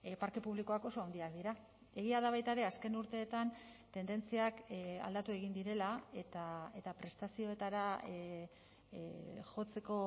parke publikoak oso handiak dira egia da baita ere azken urteetan tendentziak aldatu egin direla eta prestazioetara jotzeko